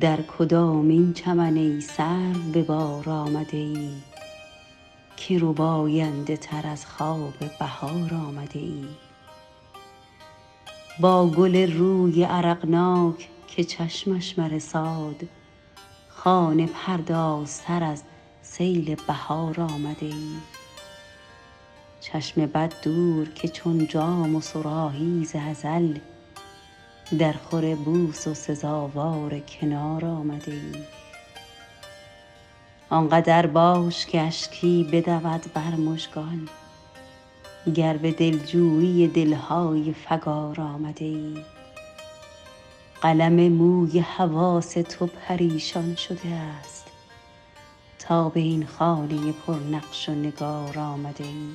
در کدامین چمن ای سرو به بار آمده ای که رباینده تر از خواب بهار آمده ای با گل روی عرقناک که چشمش مرساد خانه پردازتر از سیل بهار آمده ای چشم بد دور که چون جام و صراحی ز ازل درخور بوس و سزاوار کنار آمده ای آنقدر باش که اشکی بدود بر مژگان گر به دلجویی دل های فگار آمده ای قلم موی حواس تو پریشان شده است تا به این خانه پر نقش و نگار آمده ای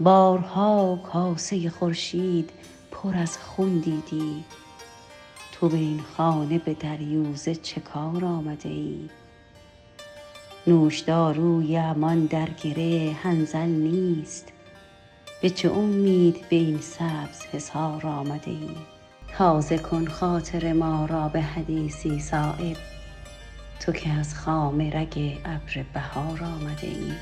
بارها کاسه خورشید پر از خون دیدی تو به این خانه به دریوزه چه کار آمده ای نوشداروی امان در گره حنظل نیست به چه امید به این سبز حصار آمده ای تازه کن خاطر ما را به حدیثی صایب تو که از خامه رگ ابر بهار آمده ای